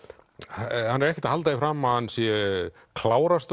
hann er ekkert að halda því fram að hann sé